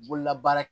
Bololabaara